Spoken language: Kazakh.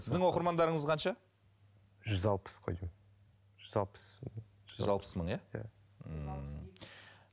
сіздің оқырмандарыңыз қанша жүз алпыс қой деймін жүз алпыс мың жүз алпыс мың иә иә ммм